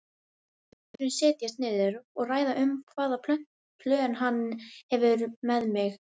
Við munum setjast niður og ræða um hvaða plön hann hefur með mig.